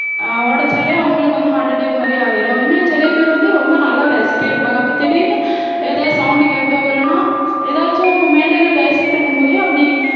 ஆஹ் உடைச்சாலே அவங்களுக்கு வந்து heart attack மாதிரி ஆயிரும் இன்னும் சில பேர் வந்து ரொம்ப நல்லா பேசிட்டே இருப்பாங்க அப்போ திடீர்ன்னு ஏதாவது sound கேட்டோ இல்லைன்னா ஏதாச்சும் மேடையில பேசிட்டு இருக்கும் போதே அப்படி